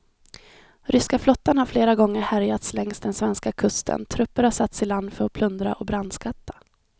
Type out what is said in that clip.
Ryska flottan har flera gånger härjat längs den svenska kusten, trupper har satts i land för att plundra och brandskatta.